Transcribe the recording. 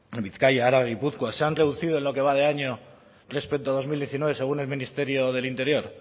en bizkaia araba y gipuzkoa se han reducido en lo que va de año respecto a dos mil diecinueve según el ministerio del interior